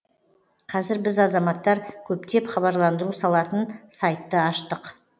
қазір біз азаматтар көптеп хабарландыру салатын сайтты аштық